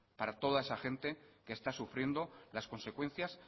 para toda esa gente que está sufriendo las consecuencias